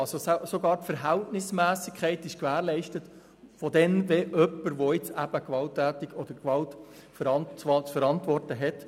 Also ist auch die Verhältnismässigkeit bei der Kostenübernahme gewährleistet, wenn jemand Gewalt zu verantworten hat.